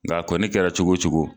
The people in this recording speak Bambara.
A ga koni kɛra cogo cogo